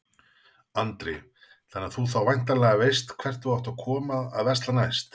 Andri: Þannig að þú þá væntanlega veist hvert þú átt að koma að versla næst?